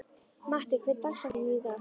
Matti, hver er dagsetningin í dag?